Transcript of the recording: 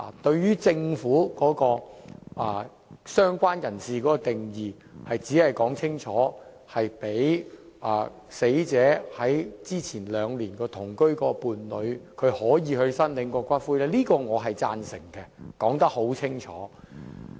對於政府對"相關人士"的定義的修正案，即清楚訂明容許跟死者死前兩年同居的伴侶申領骨灰，這一點我是贊成的，我說得很清楚。